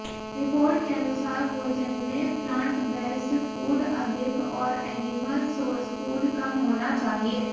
report के अनुसार भोजन में प्लांटबेस्ड फूड अधिक और एनिमल सोर्स फूड कम होना चाहिए